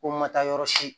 Ko n ma taa yɔrɔ si